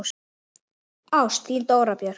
Ást, þín Dóra Björt.